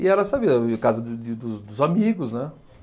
E era, sabe, casa de de do dos amigos, né?